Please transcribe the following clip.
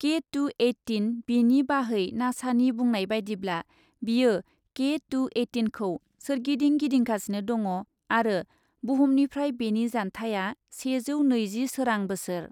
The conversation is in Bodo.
के टु एइटिन बिनि बाहै नासानि बुंनाय बायदिब्ला, बेयो के टु एइटिनखौ सोरगिदिं गिदिंगासिनो दङ आरो बुहुमनिफ्राय बेनि जान्थाया सेजौ नैजि सोरां बोसोर।